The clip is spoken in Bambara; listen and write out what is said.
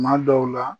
Kuma dɔw la